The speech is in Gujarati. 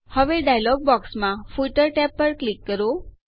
હવે ડાયલોગ બોક્સમાં ફૂટર ટેબ પર ક્લિક કરો